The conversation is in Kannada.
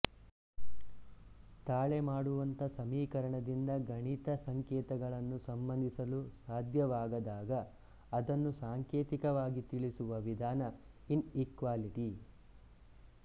ತಾಳೆಮಾಡುವಂಥ ಸಮೀಕರಣದಿಂದ ಗಣಿತ ಸಂಕೇತಗಳನ್ನು ಸಂಬಂಧಿಸಲು ಸಾಧ್ಯವಾಗದಾಗ ಅದನ್ನು ಸಾಂಕೇತಿಕವಾಗಿ ತಿಳಿಸುವ ವಿಧಾನ ಇನ್ಈಕ್ವಾಲಿಟಿ